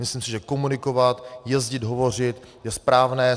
Myslím si, že komunikovat, jezdit hovořit je správné.